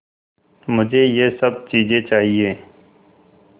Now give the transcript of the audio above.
मुझे यह सब चीज़ें चाहिएँ